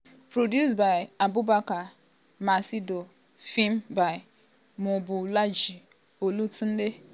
produced by abubakar maccido filmed by mobolaji olatunde